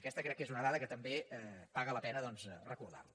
aquesta crec que és una dada que també paga la pena doncs recordar la